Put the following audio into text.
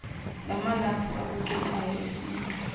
ngamalaphu abukekayo esintu